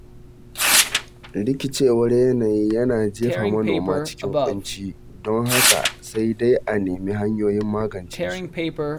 Rikicewar yanayi yana jefa manoma cikin Kunci, don haka sai dai a nemi hanyoyin magance su